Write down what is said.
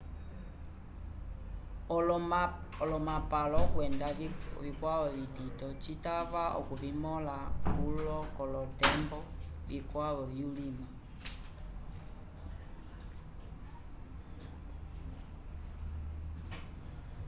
olomapalo kwenda vikwavo vitito citava okuvimõla kulo k'olotembo vikwavo vyulima